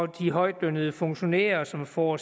de højtlønnede funktionærer som får